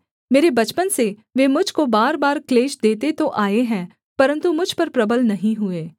मेरे बचपन से वे मुझ को बार बार क्लेश देते तो आए हैं परन्तु मुझ पर प्रबल नहीं हुए